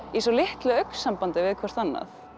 í svo litlu augnsambandi við hvort annað